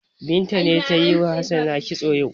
Binta ce ta yi wa Hassana kitso yau.